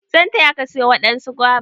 E zan taya Ka/ ki siyo wadansu guava.